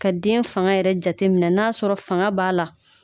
Ka den faŋa yɛrɛ jateminɛ n'a sɔrɔ faŋa b'a la